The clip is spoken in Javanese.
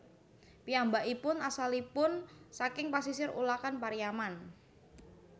Piyambakipun asalipun saking pasisir Ulakan Pariaman